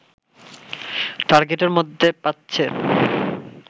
টার্গেটের মধ্যে পাচ্ছে